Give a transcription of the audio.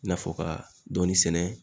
I n'a fɔ , ka dɔɔni sɛnɛ